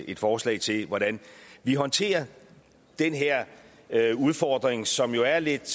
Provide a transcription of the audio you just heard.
et forslag til hvordan vi håndterer den her udfordring som jo er lidt